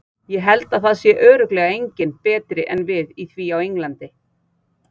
Ég held að það sé örugglega enginn betri en við í því á Englandi.